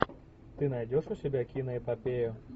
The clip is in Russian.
ты найдешь у себя киноэпопею